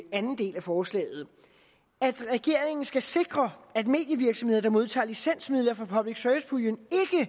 anden del af forslaget at regeringen skal sikre at medievirksomheder der modtager licensmidler fra public service puljen